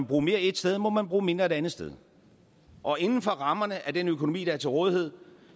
bruge mere ét sted må man bruge mindre et andet sted og inden for rammerne af den økonomi der er til rådighed